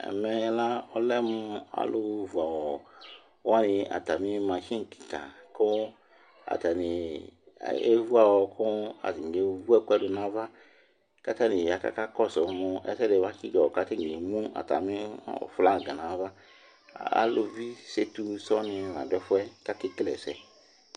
ɛmɛ la alɛmʋ alʋ vʋ awɔ wani kʋatami machine kikaa kʋ atani ayɛ vʋ awɔ kʋ ataniɛvʋɛkʋɛdi nʋ aɣa kʋ atani ya kʋ aka kɔsʋ mʋ ɛsɛdi bakyi dzɔ kʋ atani ɛmʋ atani flag nʋ aɣa, alʋvi sɛtʋ ni sɔɔ ladʋ ɛƒʋɛ kʋ akɛ kɛlɛ ɛsɛ